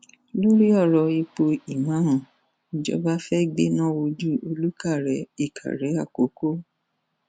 lórí ọrọ ipò ìmáàmù ìjọba fẹẹ gbéná wojú olùkórè ìkàrẹ àkọkọ